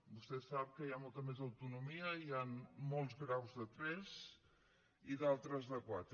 vostè sap que hi ha molta més autonomia i hi han molts graus de tres i d’altres de quatre